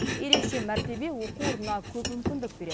ерекше мәртебе оқу орнына көп мүмкіндік береді